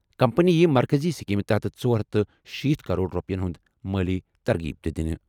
Company یِیہِ مرکٔزی سکیمہِ تحت ژور ہتھ تہٕ شیتھ کرور رۄپیَن ہُنٛد مٲلی ترغیب تہِ دِنہٕ۔